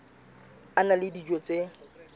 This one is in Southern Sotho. a na le dijo tse